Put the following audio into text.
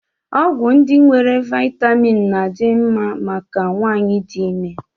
Ọgwụ ndị nwere vitamin na-adị mma maka nwanyị dị ime